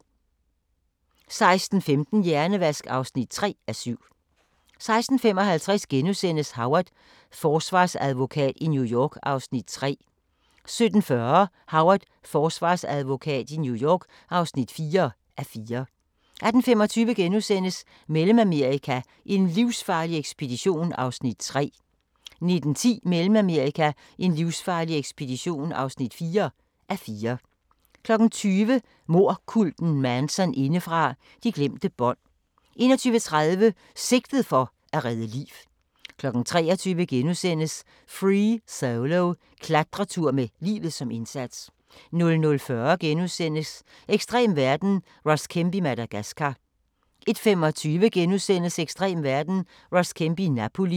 16:15: Hjernevask (3:7) 16:55: Howard – forsvarsadvokat i New York (3:4)* 17:40: Howard – Forsvarsadvokat i New York (4:4) 18:25: Mellemamerika: en livsfarlig ekspedition (3:4)* 19:10: Mellemamerika: en livsfarlig ekspedition (4:4) 20:00: Mordkulten Manson indefra – De glemte bånd 21:30: Sigtet for at redde liv 23:00: Free Solo – Klatretur med livet som indsats * 00:40: Ekstrem verden – Ross Kemp i Madagascar * 01:25: Ekstrem verden – Ross Kemp i Napoli *